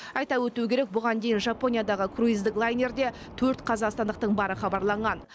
айта өту керек бұған дейін жапониядағы круиздік лайнерде төрт қазақстандықтың бары хабарланған